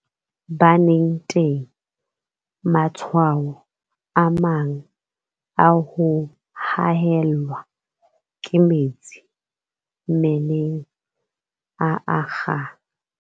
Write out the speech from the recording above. Baneng teng, matshwao a mang a ho haellwa ke metsi mmeleng a akga.